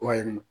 Wa yen nɔ